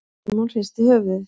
Símon hristi höfuðið.